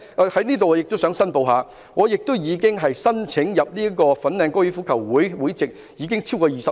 我在這裏亦想申報，我申請香港哥爾夫球會會籍已經超過20年。